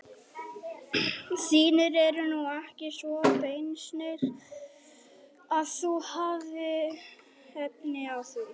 Þínir eru nú ekki svo beysnir að þú hafir efni á því.